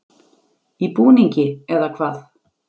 Í búningi, eða hvað?